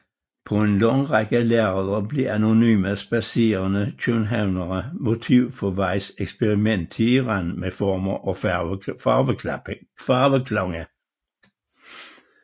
På en lang række lærreder blev anonyme spadserende københavnere motiv for Weies eksperimenteren med former og farveklange